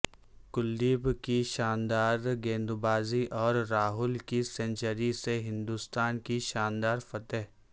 کلدیپ کی شاندار گیندبازی اور راہل کی سنچری سے ہندستان کی شاندار فتح